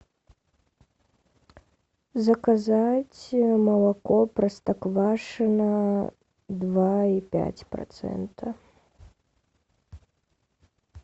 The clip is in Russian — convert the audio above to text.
заказать молоко простоквашино два и пять процента